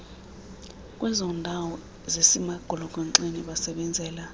kwezondawo zisemagolokonxeni basebenzela